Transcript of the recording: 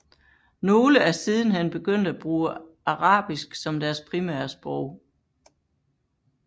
Nogle er sidenhen begyndt at bruge arabisk som deres primære sprog